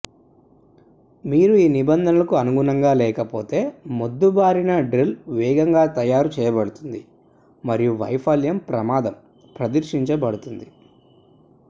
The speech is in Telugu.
మీరు ఈ నిబంధనలకు అనుగుణంగా లేకపోతే మొద్దుబారిన డ్రిల్ వేగంగా తయారు చేయబడుతుంది మరియు వైఫల్యం ప్రమాదం ప్రదర్శించబడుతుంది